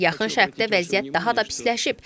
Yaxın Şərqdə vəziyyət daha da pisləşib.